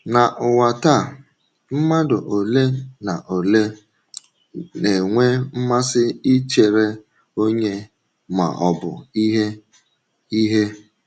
Na ụwa taa, mmadụ ole na ole na-enwe mmasị ichere onye ma ọ bụ ihe. ihe.